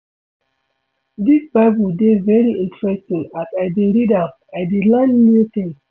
Dis bible dey very interesting as I dey read am, I dey learn new things